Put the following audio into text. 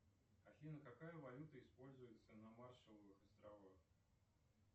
афина какая валюта используется на маршаловых островах